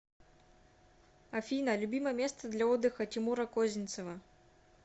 афина любимое место для отдыха тимура козинцева